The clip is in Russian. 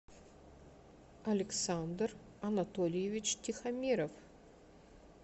александр анатольевич тихомиров